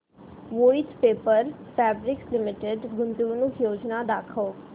Voith Paper Fabrics Limited गुंतवणूक योजना दाखव